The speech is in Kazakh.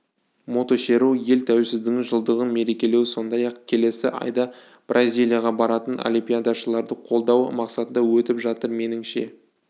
мотошеру ел тәуелсіздігінің жылдығын мерекелеу сондай-ақ келесі айда бразилияға баратын олимпиадашыларды қолдау мақсатында өтіп жатыр меніңше